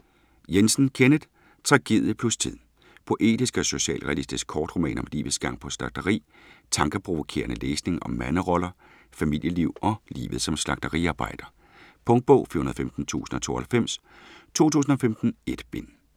Jensen, Kenneth: Tragedie plus tid Poetisk og socialrealistisk kortroman om livets gang på et slagteri. Tankeprovokerende læsning om manderoller, familieliv og livet som slagteriarbejder. Punktbog 415092 2015. 1 bind.